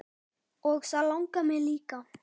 Og það langar mig líka.